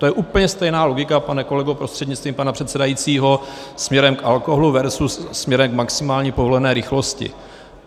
To je úplně stejná logika, pane kolego prostřednictvím pana předsedajícího, směrem k alkoholu versus směrem k maximální povolené rychlosti.